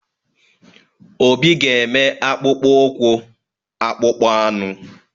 Obi ga-eme akpụkpọ ụkwụ akpụkpọ anụ.